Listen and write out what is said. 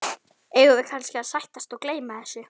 Eigum við kannski að sættast og gleyma þessu?